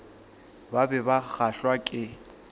ba be ba kgahlwa ke